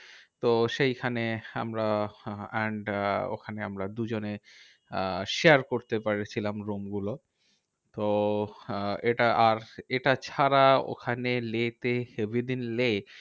তো সেইখানে আমরা and আহ ওখানে আমরা দুজনে আহ share করতে পেরেছিলাম room গুলো। তো আহ এটা আর এটা ছাড়া ওখানে লেহ তে লেহ